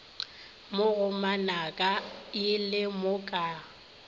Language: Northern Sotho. mo go manakaila bo ka